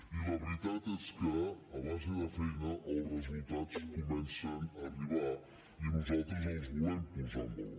i la veritat és que a base de feina els resultats comencen a arribar i nosaltres els volem posar en valor